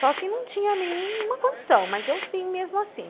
Só que não tinha nenhuma condição, mas eu vim mesmo assim.